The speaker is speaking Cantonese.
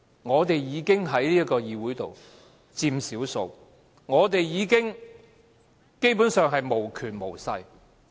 我們在這個議會裏已經屬於少數，我們基本上是無權無勢的。